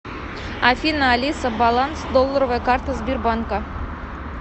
афина алиса баланс долларовой карты сбербанка